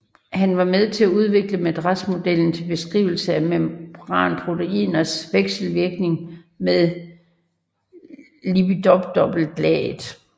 Han var med til at udvikle madrasmodellen til beskrivelse af membranproteiners vekselvirkninger med lipiddobbeltlaget